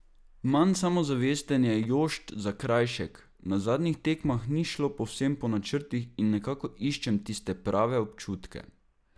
Manj samozavesten je Jošt Zakrajšek: "Na zadnjih tekmah ni šlo povsem po načrtih in nekako iščem tiste prave občutke.